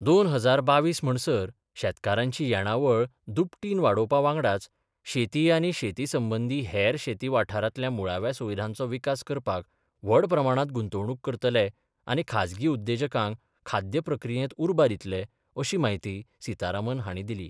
२०२२ म्हणसर शेतकारांची येणावळ दुपेटीन वाडोवपा वांगडाच शेती आनी शेती संबंदी हेर शेती वाठारांतल्या मुळाव्या सुविधांचो विकास करपाक व्हड प्रमाणांत गुंतवणूक करतले आनी खाजगी उद्देजकांक खाद्य प्रक्रियेंत उर्बा दितले अशी म्हायती सितारामन हांणी दिली.